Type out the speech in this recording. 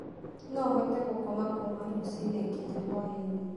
No hote gũkoma kuuma rũcinĩ nginya hwaĩ-inĩ.